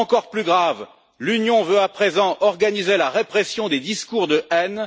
Plus grave encore, l'Union veut à présent organiser la répression des discours de haine.